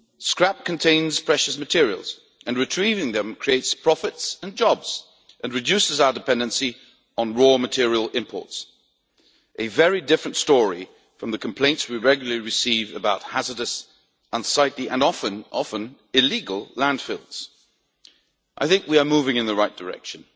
Scrap contains precious materials and retrieving them creates profits and jobs, and reduces our dependency on raw material imports a very different story from the complaints we regularly receive about hazardous, unsightly, and often illegal landfills. We are moving in the right direction.